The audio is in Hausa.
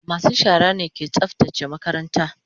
masu shara ne ke tsaftace makaranta.